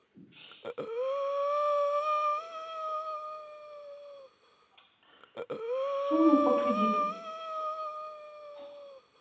сумму по кредиту